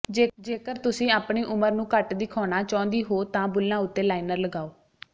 ਜੇਕਰ ਤੁਸੀ ਆਪਣੀ ਉਮਰ ਨੂੰ ਘੱਟ ਦਿਖਾਉਨਾ ਚਾਹੁੰਦੀ ਹੋ ਤਾਂ ਬੁੱਲਾਂ ਉੱਤੇ ਲਾਇਨਰ ਲਗਾਓ